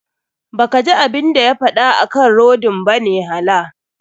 Ba kaji abun da ya faɗa akan rodin bane hala.